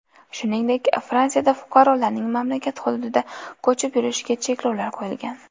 Shuningdek, Fransiyada fuqarolarning mamlakat hududida ko‘chib yurishiga cheklovlar qo‘yilgan.